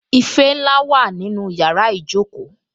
Ife ńlá wà nínú yàrá ìjókòó